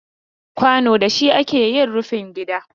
Kwano da shi ake yin rufin gida.